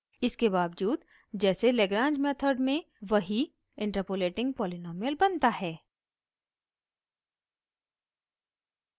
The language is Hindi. इसके बावजूद जैसे lagrange method में वही interpolating polynomial बनता है